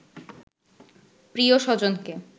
প্রিয় স্বজনকে